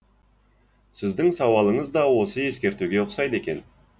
сіздің сауалыңыз да осы ескертуге ұқсайды екен